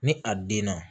Ni a den na